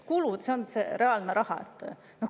Kulud on reaalne raha.